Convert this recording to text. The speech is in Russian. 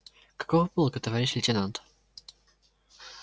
какого полка товарищ лейтенант